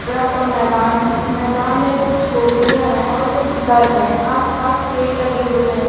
बड़ा सा मैदान है मैदान में कुछ झोपड़ियां है और कुछ घर है आसपास पेड़ लगे हुए है।